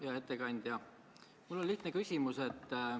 Hea ettekandja, mul on lihtne küsimus.